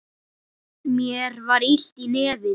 Mér var illt í nefinu.